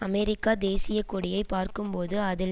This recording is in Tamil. அமெரிக்க தேசிய கொடியை பார்க்கும்போது அதில்